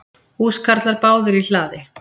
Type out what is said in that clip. Húskarlar báðir í hlaði.